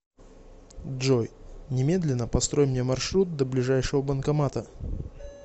джой немедленно построй мне маршрут до ближайшего банкомата